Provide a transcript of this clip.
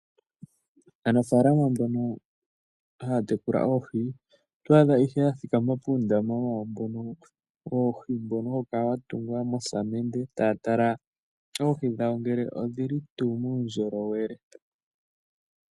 Aanafalama mbono haya tekula oohi otwa adha ishewe ya thikama puundama wayo woohi mbono hawu kala wa tungwa mosamende taya tala oohi dhawo ngele odhili tuu muundjolowele.